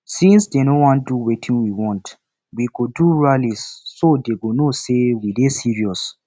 since dey no wan do wetin we want we go do rally so dat dey go know say we serious